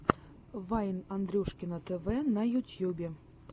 вайн андрюшкино тв на ютьюбе